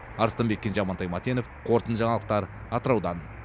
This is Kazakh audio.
арыстанбек кенже амантай мәтенов қорытынды жаңалықтар атыраудан